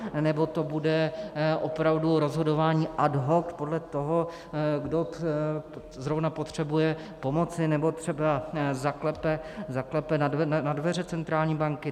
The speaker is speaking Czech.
Nebo to bude opravdu rozhodování ad hoc podle toho, kdo zrovna potřebuje pomoci nebo třeba zaklepe na dveře centrální banky?